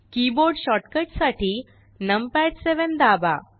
keyboard shortcut साठी numpad 7 दाबा